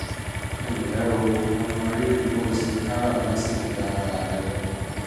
ẹ ǹlẹ́ o! mo mọrírì bó o ṣe káràmáásìkí ara rẹ